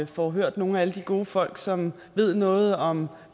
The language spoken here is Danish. får hørt nogle af alle de gode folk som ved noget om